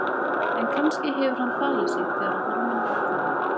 En kannski hefur hann falið sig þegar á hólminn var komið.